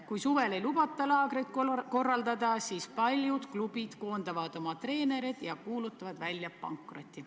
Kui suvel ei lubata laagreid korraldada, siis paljud klubid koondavad oma treenerid ja kuulutavad välja pankroti.